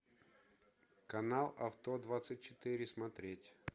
канал авто двадцать четыре смотреть